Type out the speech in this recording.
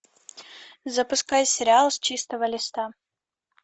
запускай сериал с чистого листа